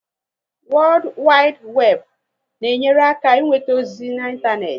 Wodu Wibu Webu na enyere aka inweta ozi na ịntanetị